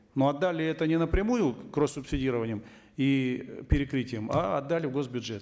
но отдали это не напрямую кросс субсидированием и перекрытием а отдали в госбюджет